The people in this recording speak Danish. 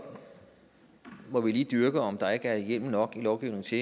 må vi lige dyrke om ikke der er hjemmel nok i lovgivningen til